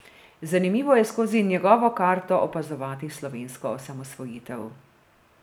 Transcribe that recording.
Zanimivo je skozi njegovo karto opazovati slovensko osamosvojitev.